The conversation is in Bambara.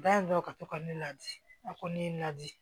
Bayɛlɛw ka to ka ne ladi a ko ne la di